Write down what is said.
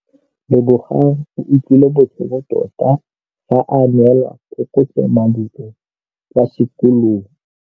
Lebogang o utlwile botlhoko tota fa a neelwa phokotsômaduô kwa sekolong.